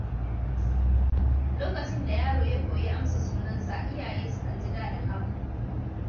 Lokacin da yaro ya koyi amsa sunansa, iyaye sukan ji daɗin abin.